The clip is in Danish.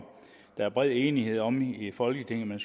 der bred enighed om i folketinget